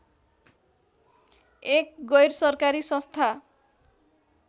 एक गैरसरकारी संस्था